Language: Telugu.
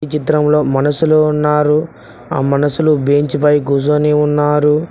చిత్రంలో మనషులు ఉన్నారు ఆ మనుషులు బెంచి పై కుసోని ఉన్నారు.